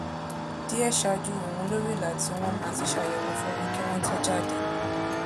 díè ṣáájú òun lori ìlà tó won ma ti sayewo fun won ki won to jade